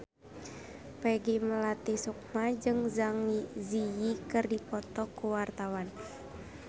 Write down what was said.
Peggy Melati Sukma jeung Zang Zi Yi keur dipoto ku wartawan